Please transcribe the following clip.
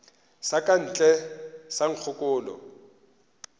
sa ka ntle sa nkgokolo